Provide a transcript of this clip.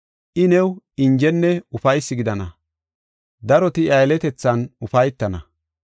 I new injenne ufaysi gidana; daroti iya yeletethan ufaytana.